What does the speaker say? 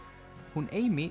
hún